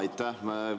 Aitäh!